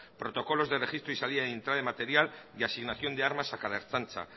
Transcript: protocolos de registro y salida y entrada de material y asignación de armas a cada ertzaintza